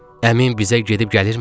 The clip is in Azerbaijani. Əmim bizə gedib gəlirmi?